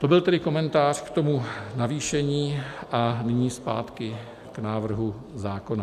To byl tedy komentář k tomu navýšení a nyní zpátky k návrhu zákona.